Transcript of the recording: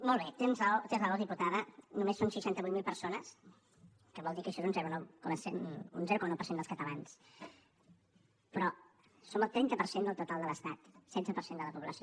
molt bé té raó diputada només són seixanta vuit mil persones que vol dir que això és un zero coma nou per cent dels catalans però som el trenta per cent del total de l’estat setze per cent de la població